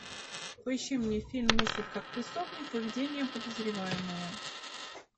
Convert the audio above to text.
поищи мне фильм мыслить как преступник поведение подозреваемого